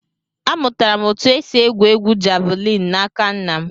Amụtara m otu esi égwù égwú javịlịn n'aka nna m